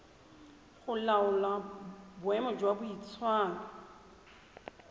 go laola boemo jwa boitshwaro